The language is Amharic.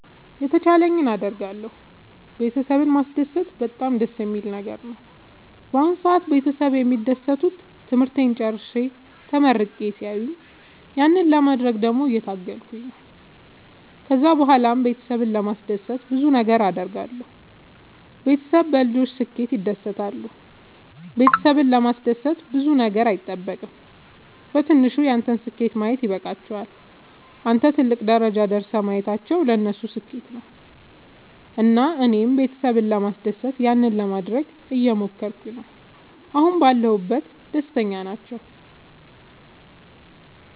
የተቻለኝን አደርጋለሁ ቤተሰብን ማስደሰት በጣም ደስ የሚል ነገር ነው። በአሁን ሰአት ቤተሰብ የሚደሰቱት ትምህርቴን ጨርሼ ተመርቄ ሲያዩኝ ያንን ለማድረግ ደግሞ እየታገልኩ ነው። ከዛ ብኋላም ቤተሰብን ለማስደሰት ብዙ ነገር አድርጋለሁ። ቤተሰብ በልጆች ስኬት ይደሰታሉ ቤተሰብን ለማስደሰት ብዙ ነገር አይጠበቅም በትንሹ ያንተን ስኬት ማየት ይበቃቸዋል። አንተን ትልቅ ደረጃ ደርሰህ ማየታቸው ለነሱ ስኬት ነው። እና እኔም ቤተሰብ ለማስደሰት ያንን ለማደረግ እየሞከርኩ ነው አሁን ባለሁበት ደስተኛ ናቸው።